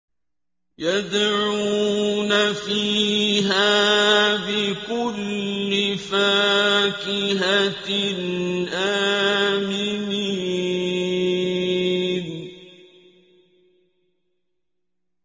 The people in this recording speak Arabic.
يَدْعُونَ فِيهَا بِكُلِّ فَاكِهَةٍ آمِنِينَ